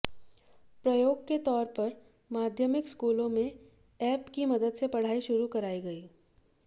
प्रयोग के तौर पर माध्यमिक स्कूलों में ऐप की मदद से पढ़ाई शुरू कराई गई